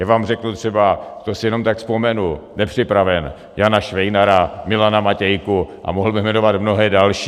Já vám řeknu třeba - to si jenom tak vzpomenu, nepřipraven - Jana Švejnara, Milana Matějku a mohl bych jmenovat mnohé další.